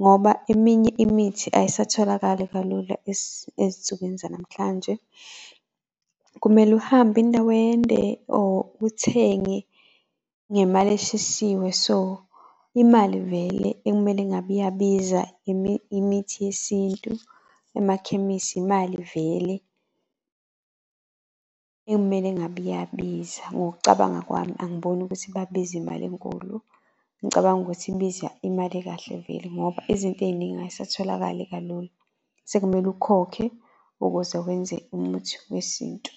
Ngoba eminye imithi ayisatholakali kalula ezinsukwini zanamhlanje kumele uhambe indawo ende or uthenge ngemali eshisiwe, so imali vele ekumele ngabe iyabiza imithi yesintu emakhemisi, imali vele ekumele ngabe iyabiza. Ngokucabanga kwami angiboni ukuthi babize imali enkulu. Ngicabanga ukuthi ibiza imali ekahle vele ngoba izinto ey'ningi ay'satholakali kalula. Sekumele ukhokhe ukuze wenze umuthi wesintu.